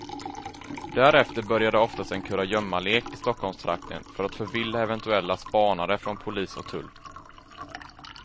Därefter började oftast en kurragömmalek i stockholmstrakten för att förvilla eventuella spanare från polis och tull.